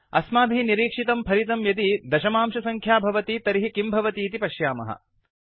आस्मभिः निरीक्षितं फलितं यदि दशमांशसङ्ख्या भवति तर्हि किं भवतीति पश्यामः